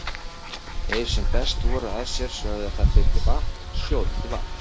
Þeir sem best voru að sér sögðu að það þyrfti vatn, sjóðandi vatn.